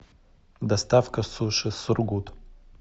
доставка суши сургут